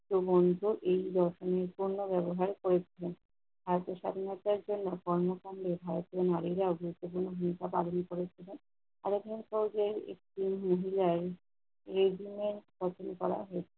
এ পযন্ত এই রকমের পণ্য ব্যবহার করেছেন। ভারতের স্বাধীনতার জন্য কর্মকান্ডে ভারতের নারীরা গুরুত্বপূর্ণ ভূমিকা পালন করেছেন। আবার ধরেন সহজে school মহিলায় regiment গঠন করা হয়েছে।